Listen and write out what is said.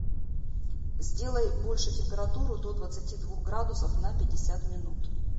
сделай больше температуру до двадцати двух градусов на пятьдесят минут